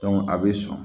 a bɛ sɔn